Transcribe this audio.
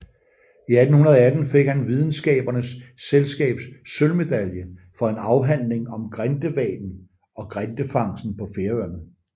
I 1818 fik han Videnskabernes Selskabs sølvmedalje for en afhandling om grindehvalen og grindefangsten på Færøerne